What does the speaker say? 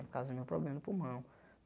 Por causa do meu problema no pulmão.